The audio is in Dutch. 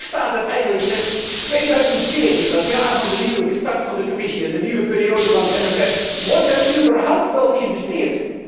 Hoe staat het eigenlijk met 2014, het jaar van de nieuwe start van de Commissie en de nieuwe periode van het MFK, wordt er überhaupt wel geïnvesteerd?